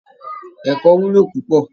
Ẹ̀kọ́ wúlò púpọ̀